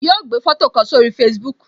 Yo gbé foto kan sórí Facebook